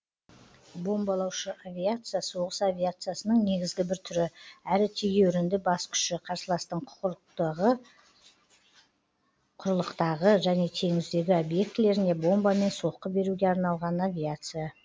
бомбалаушы авиация соғыс авиациясының негізгі бір түрі әрі тегеурінді бас күші қарсыластың құрлықтағы және теңіздегі объектілеріне бомбамен соққы беруге арналған авиация